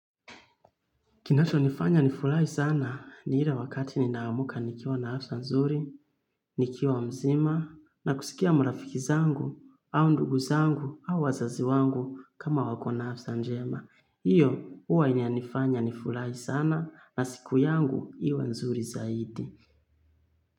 Kinacho nifanya nifurahi sana ni ile wakati ninaamka nikiwa na afsa nzuri, nikiwa mzima na kusikia marafiki zangu au ndugu zangu au wazazi wangu kama wako na afsa njema. Iyo huwa inanifanya nifurahi sana na siku yangu iwe nzuri zaidi.